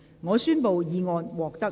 我宣布議案獲得通過。